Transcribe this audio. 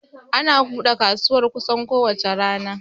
Ana bude kasuwar kusan ko wace rana